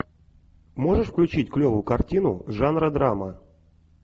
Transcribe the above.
можешь включить клевую картину жанра драма